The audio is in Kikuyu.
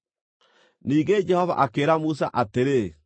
Ningĩ Jehova akĩĩra Musa atĩrĩ,